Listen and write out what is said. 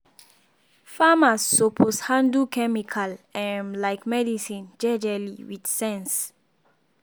farmers suppose handle chemical um like medicine jejely with sense.